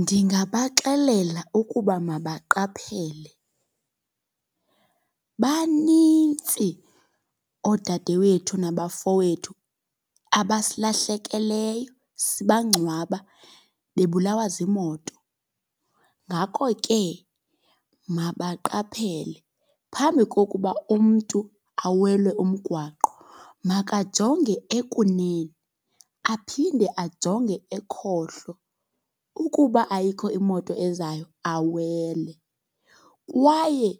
Ndingabaxelela ukuba mabaqaphele. Banintsi oodadewethu nabafowethu abasilahlakeleyo sibangcwaba bebulawa ziimoto. Ngako ke mabaqaphele phambi kokuba umntu awele umgwaqo, makajonge ekunene aphinde ajonge ekhohlo ukuba ayikho imoto ezayo awele. Kwaye